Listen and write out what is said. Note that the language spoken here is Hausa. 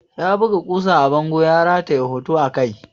Ya buga ƙusa a bango ya rataye hoto a kai.